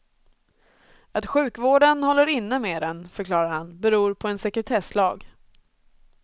Att sjukvården håller inne med den, förklarar han, beror på en sekretesslag.